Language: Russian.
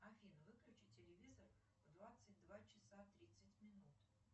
афина выключи телевизор в двадцать два часа тридцать минут